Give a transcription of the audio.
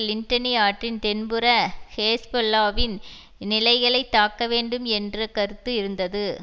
லின்டனி ஆற்றின் தென்புற ஹேஸ்பொல்லாவின் நிலைகளைத் தாக்க வேண்டும் என்ற கருத்து இருந்தது